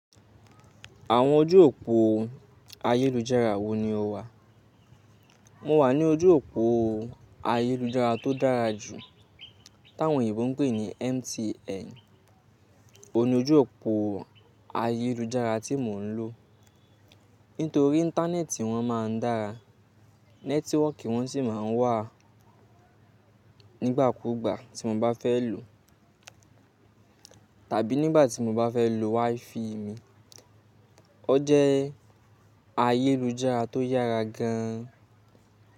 Àwọn ojú òpó ayélujára wo ni o wà? Mo wà ní ojú òpó ayélujára tó dára jù, táwọn òyìnbó ń pè ní MTN. O ni ojú òpó ayélujára tí mò ń lò. Nítorí Íńtánẹ́ẹ̀tì wọn máa ń dára. Nẹ́tíwọ̀kì wọn sì máa ń wà nígbàkúgbà tí mo bá fẹ́ lò tàbí nígbà tí mo bá fẹ́ lò WiFi mi. O jẹ́ ayélujára tó yára gan an.